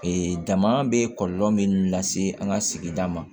dama bɛ kɔlɔlɔ min lase an ka sigida ma